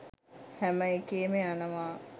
හැම එකේම යනවා